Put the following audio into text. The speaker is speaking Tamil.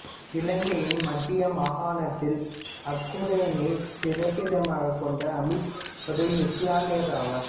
இலங்கையின் மத்திய மாகாணத்தில் அக்குரணையைப் பிறப்பிடமாகக் கொண்ட அமீட் ஒரு இசுலாமியராவார்